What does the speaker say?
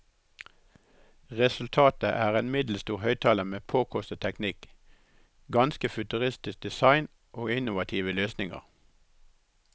Resultatet er en middelstor høyttaler med påkostet teknikk, ganske futuristisk design og innovative løsninger.